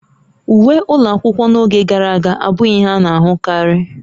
Uwe ụlọ akwụkwọ n'oge gara aga abụghị ihe a na-ahụkarị